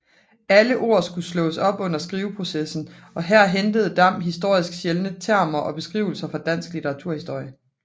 Alle ord skulle slås op under skriveprocessen og her hentede Dam historisk sjældne termer og beskrivelser fra dansk litteraturhistorie